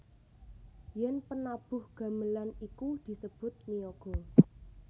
Yen penabuh gamelan iku disebut niyaga